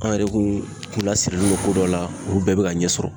An yɛrɛ kun lasirilen don ko dɔ la ,olu bɛɛ be ka ɲɛsɔrɔ.